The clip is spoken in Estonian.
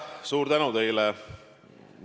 Suur tänu teile!